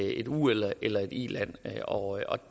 et u eller iland iland og